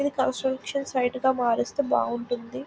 ఇది construction site గా మారిస్తే బాగుంటుంది.